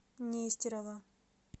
нестерова